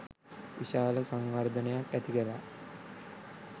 විශාල සංවර්ධනයක් ඇතිකළා.